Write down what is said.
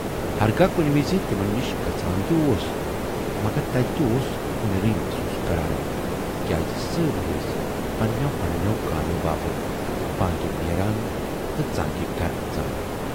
ہرگاہ کُنہِ وِزِ تِمن نِش گژھان تہِ اوس مگر تتہِ تہِ اوس کُنٮ۪رے محسوٗس کران تِکیازِ سٲری ٲسۍ پنہٕ نٮ۪و پنہٕ نٮ۪و کامٮ۪و باپتھ بانگہِ نیران تہٕ ژٲنگہِ گرٕ اژان۔